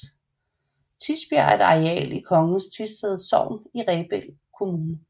Tisbjerg er et areal i Kongens Tisted Sogn i Rebild Kommune